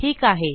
ठीक आहे